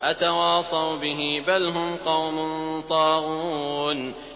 أَتَوَاصَوْا بِهِ ۚ بَلْ هُمْ قَوْمٌ طَاغُونَ